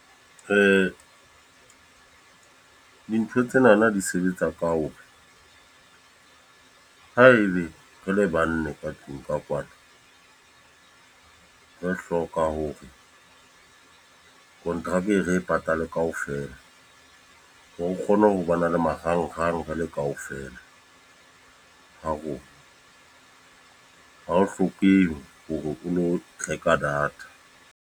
Dintho tsenana di sebetsa ka hoba, haebe re le banne ka tlung ka kwano. Re hloka ho re konteraka re e patale kaofela. Hore o kgone ho ba na le marangang re le kaofela ha rona. Ha ho hlokehe hore o lo reka data.